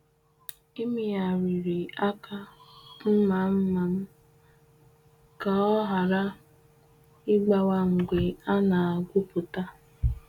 Emegharịrị aka mma mma m ka ọ ghara ịgbawaa mgbe a na-agwupụta.